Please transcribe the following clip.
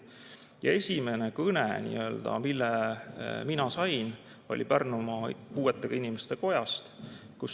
Ja esimene kõne, mille ma sain, oli Pärnumaa Puuetega Inimeste Kojast.